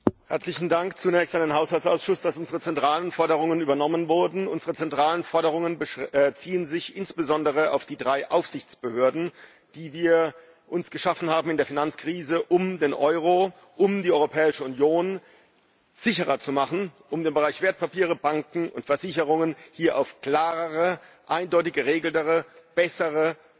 Frau Präsidentin! Herzlichen Dank zunächst an den Haushaltsausschuss, dass unsere zentralen Forderungen übernommen wurden. Unsere zentralen Forderungen beziehen sich insbesondere auf die drei Aufsichtsbehörden, die wir uns in der Finanzkrise geschaffen haben um den Euro, um die Europäische Union sicherer zu machen, um den Bereich Wertpapiere, Banken und Versicherungen hier auf klarere, eindeutiger geregelte, bessere